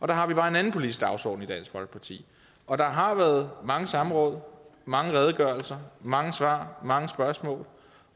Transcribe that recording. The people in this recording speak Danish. der har vi bare en anden politisk dagsorden i dansk folkeparti og der har været mange samråd og mange redegørelser og mange svar og mange spørgsmål